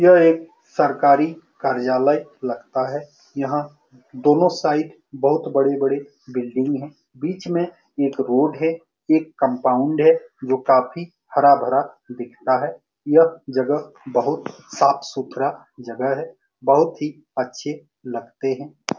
यह एक सरकारी कार्यालय लगता है यहाँ दोनों साइड बहुत बड़ी-बड़ी बिल्डिंग है बीच में एक रोड है एक कम्पाउंड है जो काफी हरा-भरा दिखता है यह जगह बहुत साफ़ सुथरा जगह है बहुत ही अच्छे लगते है।